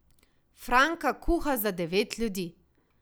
Franka kuha za devet ljudi.